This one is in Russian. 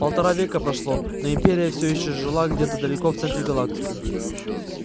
полтора века прошло но империя все ещё жила где-то далеко в центре галактики